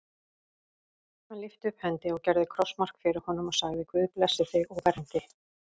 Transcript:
Hann lyfti upp hendi og gerði krossmark fyrir honum og sagði:-Guð blessi þig og verndi.